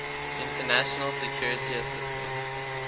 international security assistance